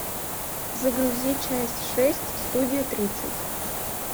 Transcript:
загрузи часть шесть студия тридцать